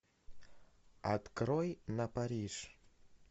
открой на париж